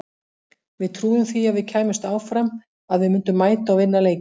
Við trúðum því að við kæmumst áfram, að við myndum mæta og vinna leikinn.